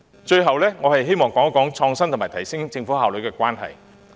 最後，我希望談談創新科技及提升政府效率兩者之間的關係。